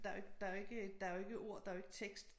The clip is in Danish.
Der jo ikke der jo ikke øh der jo ikke ord der jo ikke tekst